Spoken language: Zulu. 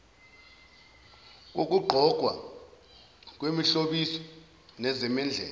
kokugqokwa kwemihlobiso nezimendlela